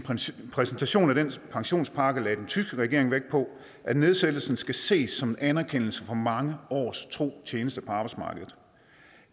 præsentation af den pensionspakke lagde den tyske regering vægt på at nedsættelsen skal ses som en anerkendelse for mange års tro tjeneste på arbejdsmarkedet